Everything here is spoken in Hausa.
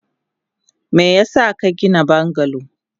Meyasa kagina bungalow?